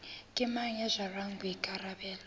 ke mang ya jarang boikarabelo